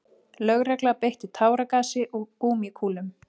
Lögregla beitti táragasi og gúmmíkúlum